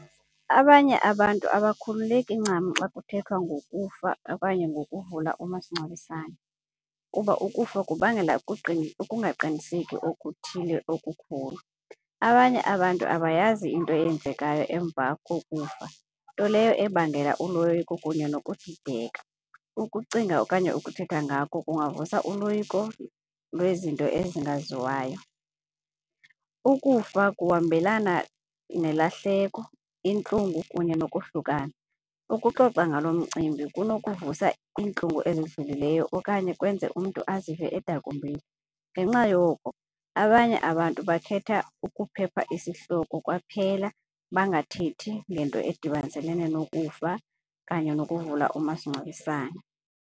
Abanye abantu abakhululeki ncam xa kuthethwa ngokufa okanye ngokuvula umasingcwabisane kuba ukufa kubangela ukungaqiniseki okuthile okukhulu. Abanye abantu abayazi into eyenzekayo emva kokufa, nto leyo ebangela uloyiko kunye nokudideka. Ukucinga okanye ukuthetha ngako kungavusa uloyiko lwezinto ezingaziwayo. Ukufa kuhambelana nelahleko, intlungu kunye nokohlukana, ukuxoxa ngalo mcimbi kunokuvusa iintlungu ezidlulileyo okanye kwenze umntu azive edakumbile. Ngenxa yoko abanye abantu bakhetha ukuphepha isihloko kwaphela bangathethi ngento edibaniselene nokufa okanye nokuvula umasingcwabisane.